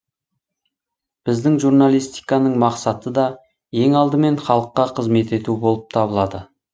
біздің журналистиканын мақсаты да ең алдымен халыққа қызмет ету болып табылады